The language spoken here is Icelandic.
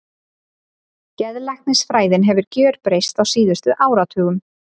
Geðlæknisfræðin hefur gjörbreyst á síðustu áratugum.